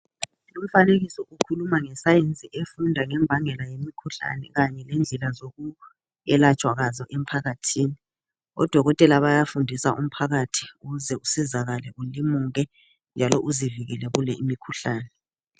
Umfanekiso ukhuluma ngesayensi efunda ngembangela yemikhuhlane kanye lendlela yokwelatshwa kwayo emphakathini. ODokotela bayafundisa umphakathi ukuze usizakale, ulimuke njalo uzivikele kule imikhuhlane.